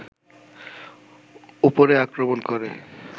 ওপরে আক্রমণ করে